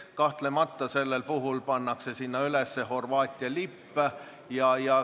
Kahtlemata pannakse sellel puhul Valgesse saali üles Horvaatia lipp.